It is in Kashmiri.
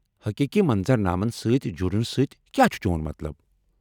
حقیقی منظرنامن سۭتۍ جڑنہٕ سۭتۍ کیٛا چُھ چون مطلب؟